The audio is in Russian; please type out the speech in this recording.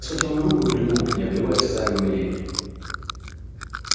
схватил её руку и прильнул к ней обливая слезами умиления